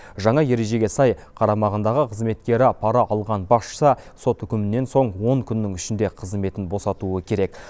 жаңа ережеге сай қарамағындағы қызметкері пара алған басшысы сот үкімінен соң он күннің ішінде қызметін босатуы керек